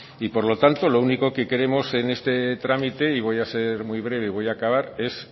y por lo tanto lo único que queremos en este trámite y voy a ser muy breve y voy a acabar es